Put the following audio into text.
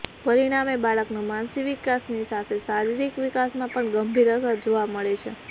પરિણામે બાળકનો માનસિક વિકાસની સાથે શારીરિક વિકાસમાં પણ ગંભીર અસર જોવા મળે છે